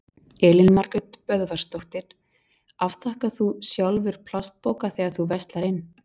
Elín Margrét Böðvarsdóttir: Afþakkar þú sjálfur plastpoka þegar þú verslar inn?